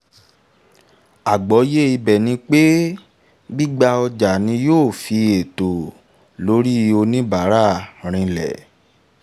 àgbọ́yé ibẹ̀ ni pé gbígba ọjà ni yóò fi ẹ̀tọ́ lórí oníbàárà rinlẹ̀.